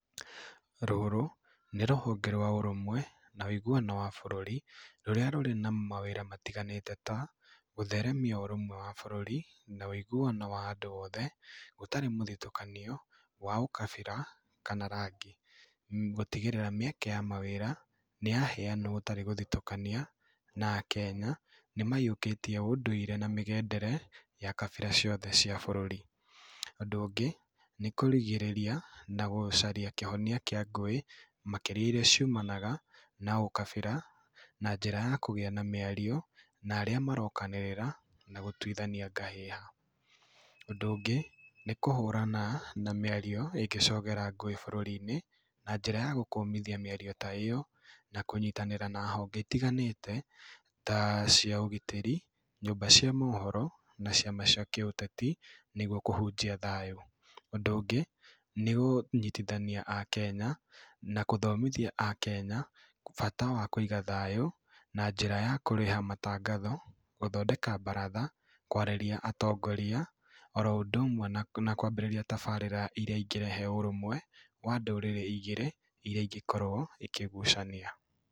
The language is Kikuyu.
Rũrũ nĩ rũhonge rwa ũrũmwe na ũiguano wa bũrũri rũrĩa rũrĩ na mawĩra matiganĩte ta gũtheremia ũrũmwe wa bũrũri, na ũĩguano wa andũ othe gũtarĩ mũthitũkanio wa ũkabira kana rangi, gũtĩgĩrĩra mĩeke ya mawĩra nĩyaheanwo gũtarĩ gũthitũkania, na akenya nĩmayiũkĩtie ũndũire na mĩgendere ya kabira ciothe cia bũrũri. Ũndũ ũngĩ nĩ kũrigĩrĩria na gũcaria kĩhonia kĩa ngũĩ makĩria iria ciumanaga na ũkabira, na njĩra ya kũgĩa na mĩario na arĩa marokanĩrĩra na gũtuithania ngahĩha. Ũndũ ũngĩ nĩ kũhũrana na mĩario ĩngĩcogera ngũĩ bũrũri-inĩ na njĩra ya gũkũmithia mĩario ta ĩyo, na kũnyitanĩra na honge itiganĩte ta cia ũgitĩri, nyũmba cia mohoro na ciama cia kĩũteti nĩguo kũhũnjia thayũ. Ũndũ ũngĩ nĩ kũnyitithania akenya, na gũthomithia akenya bata wa kũiga thayũ na njĩra ya kũrĩha matangatho, gũthondeka baratha, kwarĩrĩa atongoria oro ũndũ ũmwe na kwa kwambiriria tabarĩra iria ingĩrehe ũrũmwe wa ndũrĩrĩ igĩrĩ iria ingĩkorwo ikĩgucania.